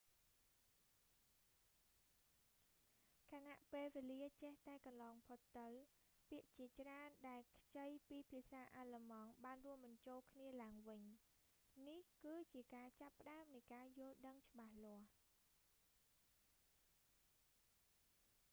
ខណៈពេលវេលាចេះតែកន្លងផុតទៅ ពាក្យជាច្រើនដែលខ្ចីពីភាសាអាឡឺម៉ង់បានរួមបញ្ចូលគ្នាឡើងវិញ នេះ គឺជាការចាប់ផ្តើមនៃការយល់ដឹងច្បាស់លាស់